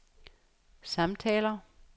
samtaler